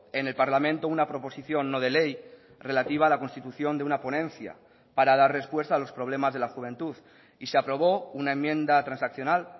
en el parlamento una proposición no de ley relativa a la constitución de una ponencia para dar respuesta a los problemas de la juventud y se aprobó una enmienda transaccional